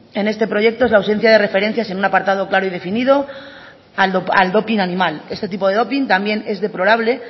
en este proyecto es la ausencia de referencias en un apartado claro y definido al doping animal este tipo de doping también es deplorable